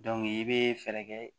i bɛ fɛɛrɛ kɛ